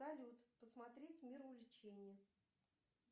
салют посмотреть мир увлечения